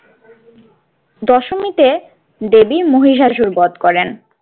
দশমীতে দেবী মহিষাসুর বধ করেন।